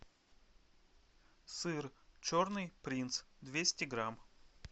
сыр черный принц двести грамм